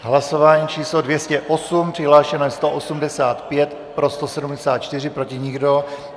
Hlasování číslo 208, přihlášeno je 185, pro 174, proti nikdo.